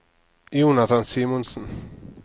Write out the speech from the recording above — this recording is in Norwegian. Jonathan Simonsen